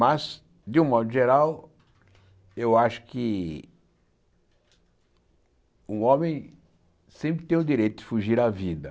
Mas, de um modo geral, eu acho que um homem sempre tem o direito de fugir a vida.